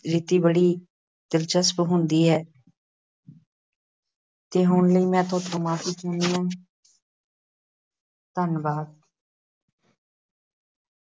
ਰੀਤੀ ਬੜੀ ਦਿਲਚਸਪ ਹੁੰਦੀ ਹੈ। ਅਤੇ ਹੁਣ ਲਈ ਮੈਂ ਤੁਹਾਡੇ ਤੋਂ ਮੁਆਫੀ ਚਾਹੁੰਦੀ ਹਾਂ ਧੰਨਵਾਦ